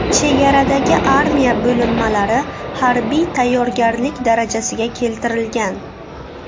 Chegaradagi armiya bo‘linmalari harbiy tayyorlik darajasiga keltirilgan.